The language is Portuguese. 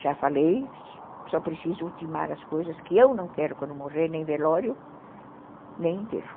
Já falei, só preciso ultimar as coisas que eu não quero quando morrer, nem velório, nem enterro.